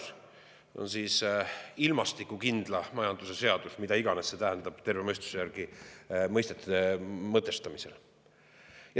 See on siis ilmastikukindla majanduse seadus või mida iganes see tähendab terve mõistuse järgi, kui mõisteid mõtestada.